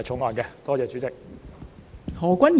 多謝代理主席。